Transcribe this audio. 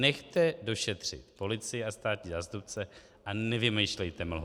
Nechte došetřit policii a státní zástupce a nevymýšlejte mlhu.